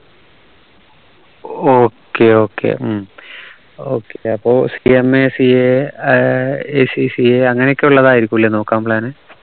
okay okay ഉം okay അപ്പോ CMACA ഏർ ACCA അങ്ങനെയൊക്കെ ഉള്ളതായിരിക്കുല്ലേ നോക്കാൻ plan